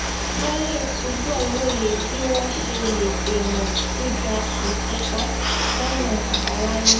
wón lè túbò lóye bí wón ṣe lè dènà giga ìfúnpá lónà àbáláyé